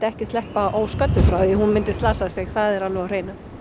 ekki sleppa ósködduð frá því hún myndi slasa sig það er alveg á hreinu